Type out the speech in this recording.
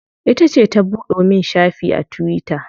Ita ce ta buɗe min shafi a tuwita.